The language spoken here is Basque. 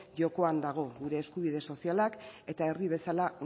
jokoan dago gure eskubide sozialak eta herri bezala